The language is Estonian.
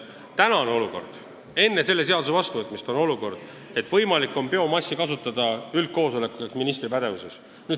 " Praegu ehk enne selle seaduse vastuvõtmist on olukord, et biomassi kasutamise lubamine on üldkoosoleku ehk ministri pädevuses.